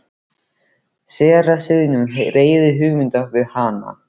Séra Sigurjón hreyfði hugmyndinni við hana.